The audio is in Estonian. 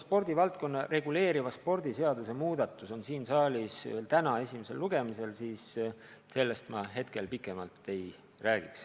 Kuna spordivaldkonda reguleeriva spordiseaduse muutmine on siin saalis täna esimesel lugemisel, siis sellest ma praegu pikemalt ei räägiks.